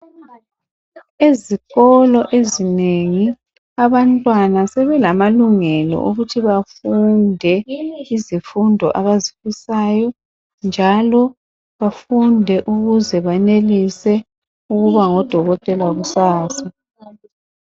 Ezikolo ezinengi abantwana sebelamalungelo okuthi bafunde izifundo abazifisayo njalo bafunde ukuze bayenelise ukuba ngodokotela kusasa